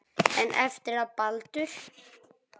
En eftir að Baldur.